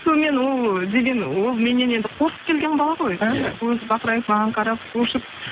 сонымен ол деген ол меннен енді қорқып келген бала ғой іхі көзі бақырайып маған қарап шошып